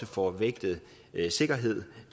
få vægtet sikkerhed